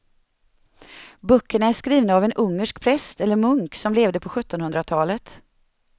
Böckerna är skrivna av en ungersk präst eller munk som levde på sjuttonhundratalet.